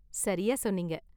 சரியா சொன்னீங்க.